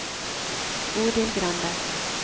Bodil Grande